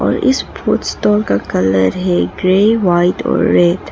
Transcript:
इस food store का colour है ग्रे वाइट और रेड --